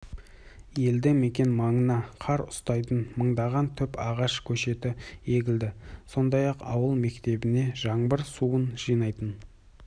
елді мекен маңына қар ұстайтын мыңдаған түп ағаш көшеті егілді сондай-ақ ауыл мектебіне жаңбыр суын жинайтын